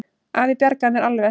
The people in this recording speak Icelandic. Afi bjargaði mér alveg.